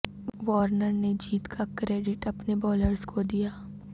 Warner نے جیت کا کریڈٹ اپنے بالرز کو دیا